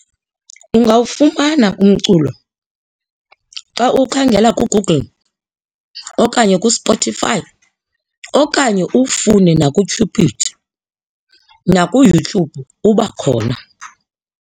Ungawufumana umculo xa uwukhangela kuGoogle okanye kuSpotify okanye ufune nakuTubidy nakuYouTube uba khona.